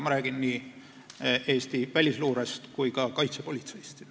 Ma räägin nii Eesti välisluurest kui ka kaitsepolitseist.